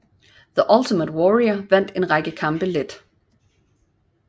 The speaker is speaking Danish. The Ultimate Warrior vandt en række kampe let